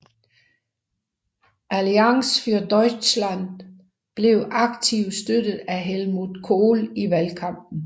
Allianz für Deutschland blev aktivt støttet af Helmut Kohl i valgkampen